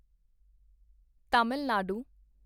Tamil Nadu